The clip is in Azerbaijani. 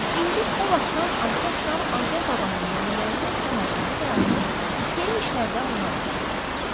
İndi o vaxtdan Atəş şah Azər babanın nəvələrinin xidmətində dayanır, xeyir işlərdə onlara kömək edir.